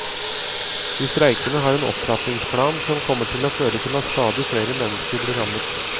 De streikende har en opptrappingsplan som kommer til å føre til at stadig flere mennesker blir rammet.